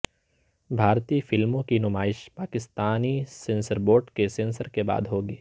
بھارتی فلموں کی نمائش پاکستانی سنسر بورڈ کے سنسر کےبعد ہوگی